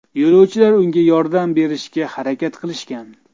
Yo‘lovchilar unga yordam berishga harakat qilishgan.